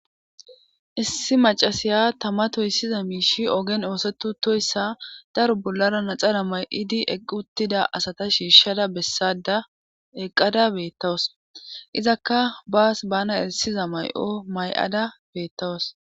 issi macasiya tama toyssiza miishi oogen ooseti utoyssa daro bollara naxara may'idi eqquttida asata shiishshada bessada eqqada beettawas izakka baas bana erissiza may'o may'ada beettawas